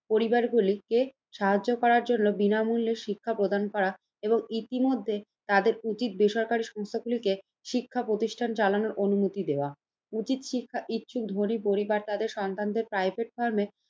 পরিবারগুলিকে সাহায্য করার জন্য বিনামূল্যে শিক্ষা প্রদান করা এবং ইতিমধ্যে তাদের উচিত বেসরকারি সংস্থাগুলিকে শিক্ষা প্রতিষ্ঠান চালানোর অনুমতি দেওয়া। উচিত শিক্ষা ইচ্ছুক ধনী পরিবার তাদের সন্তানদেড় প্রাইভেট ফার্মে